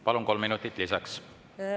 Palun, kolm minutit lisaks!